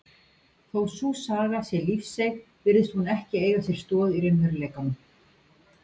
Þó að sú saga sé lífseig virðist hún ekki eiga sér stoð í raunveruleikanum.